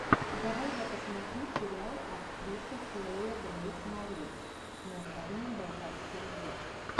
давай я посмотрю сериал актриса хлоя грейс морец с названием балканский рубеж